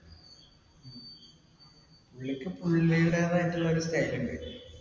പുള്ളിക്ക് പുള്ളീടേതായിട്ടുള്ളൊരു style ണ്ട്.